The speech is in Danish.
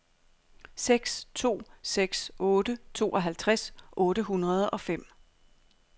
seks to seks otte tooghalvtreds otte hundrede og fem